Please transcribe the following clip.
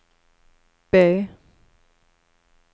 B